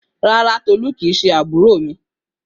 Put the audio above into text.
Rárá, Tolú kìí ṣe àbúrò mi.